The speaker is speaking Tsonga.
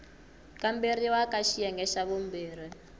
kamberiwa ka xiyenge xa vumbirhi